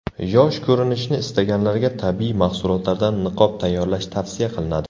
Yosh ko‘rinishni istaganlarga tabiiy mahsulotlardan niqob tayyorlash tavsiya qilinadi.